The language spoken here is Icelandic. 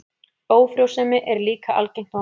Ófrjósemi er líka algengt vandamál.